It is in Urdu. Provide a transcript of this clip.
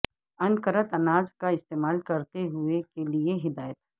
انکرت اناج کا استعمال کرتے ہوئے کے لئے ہدایت